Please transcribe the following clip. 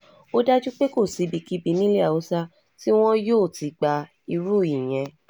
ó dájú pé um kò sí ibikíbi nílẹ̀ um haúsá tí wọn yóò ti gba irú ìyẹn